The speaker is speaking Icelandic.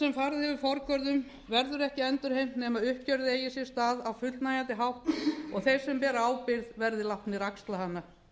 sem farið hefur forgörðum verður ekki endurheimt nema uppgjörið eigi sér stað á fullnægjandi hátt og að þeir sem bera ábyrgð verði látnir axla hana